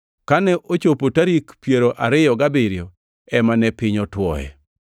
Kane ochopo tarik piero ariyo gabiriyo ema ne piny otuoe.